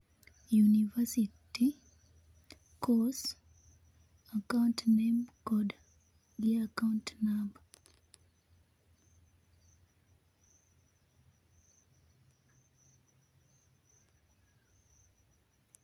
University, course ,account name]cs kod gi account number[s]